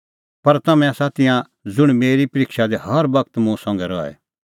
पर तम्हैं आसा तिंयां ज़ुंण मेरी परिक्षा दी हर बगत मुंह संघै रहै